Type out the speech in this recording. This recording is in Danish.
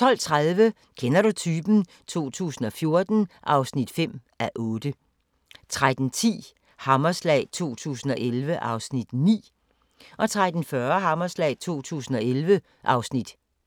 12:30: Kender du typen? 2014 (5:8) 13:10: Hammerslag 2011 (Afs. 9) 13:40: Hammerslag 2011 (Afs.